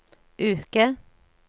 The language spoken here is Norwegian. uke